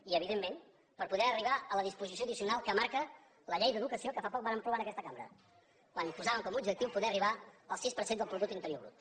i evidentment per poder arribar a la disposició addicional que marca la llei d’educació que fa poc vàrem aprovar en aquesta cambra quan posàvem com a objectiu poder arribar al sis per cent del producte interior brut